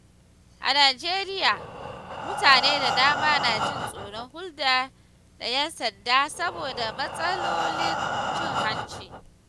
A Najeriya, mutane da dama na jin tsoron hulɗa da ƴan sanda saboda matsalolin cin hanci.